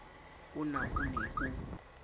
a na o ne o